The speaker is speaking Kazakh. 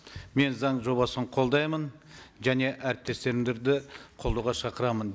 мен заң жобасын қолдаймын және әріптестерімді де қолдауға шақырамын